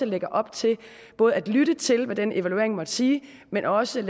lægge op til både at lytte til hvad den evaluering måtte sige men også